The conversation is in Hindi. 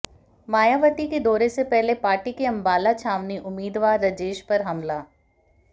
मायावती के दौरे से पहले पार्टी के अंबाला छावनी उम्मीदवार राजेश पर हमला